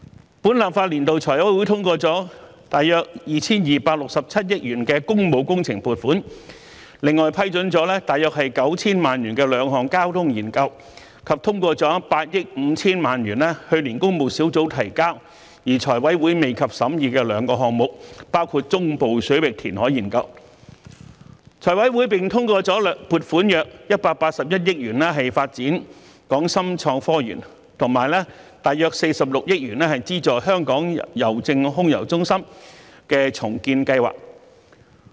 在本立法年度，財務委員會通過了約 2,267 億元的工務工程撥款，另外批出約 9,000 萬元進行兩項交通研究，以及通過費用為8億 5,000 萬元由工務小組委員會於去年提交而財委會未及審議的兩個項目，包括中部水域人工島相關研究；此外，財委會通過撥款約181億元發展港深創新及科技園，以及約46億元資助香港郵政空郵中心的重建計劃。